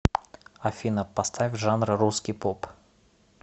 афина поставь жанр русский поп